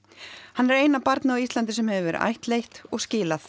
hann er eina barnið á Íslandi sem hefur verið ættleitt og skilað